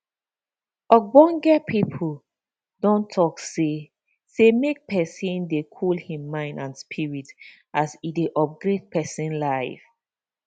ogbonge pipo don talk say say make pesin dey cool hin mind and spirit as e dey upgrade pesin life